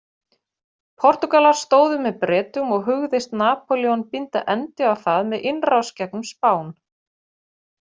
Portúgalar stóðu með Bretum og hugðist Napóleon binda endi á það með innrás gegnum Spán.